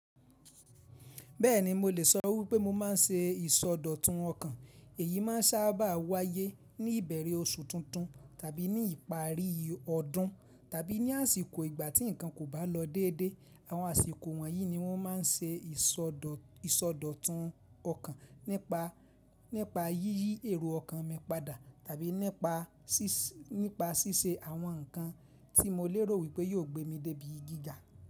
Bẹ́ẹ̀ni, mo lè sọ wípé mo máa ń ṣe ìsọdọ̀tun ọkàn. Èyí máa ń sáábà wáyé ní ìbẹ̀rẹ̀ oṣù tuntun tàbí ní ìparí ọdún tàbí ní àsìkò ìgbà tí ǹkan kò bá lọ déédé. Àwọn àsìkò wọ̀nyí ni wọ́n máa ń ṣe ìsọdọ̀tun ọkàn nípa yíyí èrò ọkàn mi padà tàbí nípa ṣíṣe àwọn ǹkan tí mo lérò wípé yóò gbé mi débi giga.